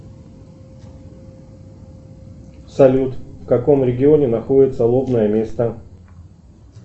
салют в каком регионе находится лобное место